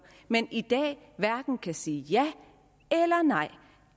men i dag hverken kan sige ja eller nej